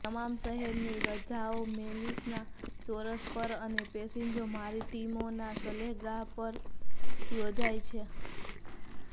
તમામ શહેરની રજાઓ મેલીસના ચોરસ પર અને પસેજો મારિટીમોના સહેલગાહ પર યોજાય છે